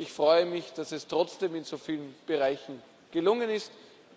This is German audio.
Ich freue mich, dass es trotzdem in so vielen Bereichen gelungen ist